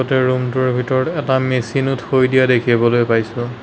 ৰুমটোৰ ভিতৰত এটা মেচিনো থৈ দিয়া দেখিবলৈ পাইছোঁ।